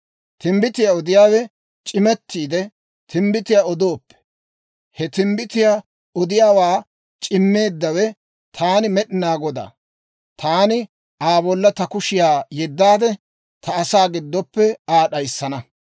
«‹ «Timbbitiyaa odiyaawe c'imettiide, timbbitiyaa odooppe, he timbbitiyaa odiyaawaa c'immeeddawe taana Med'inaa Godaa. Taani Aa bolla ta kushiyaa yeddaade, ta asaa giddoppe Aa d'ayissana.